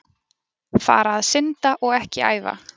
Fara að synda og ekki æfa?